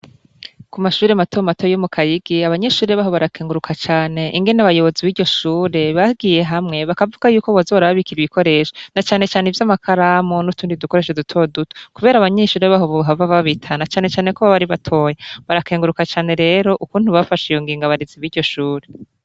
Ku mashure matomato yo mu Kayigi, abanyeshure baho barakenguruka cane, ingene abayobozi b'iryo shure, bagiye hamwe, bakavuga y'uko boza barababikira ibikoresho, na canecane ivy' amakaramu, n'utundi dukoresho dutoduto. Kubera abanyeshure baho bahava babita, na canecane ko baba ari batoyi. Barakenguruka cane rero, ukuntu bafashe iyo ngingo abarezi b'iryo shure.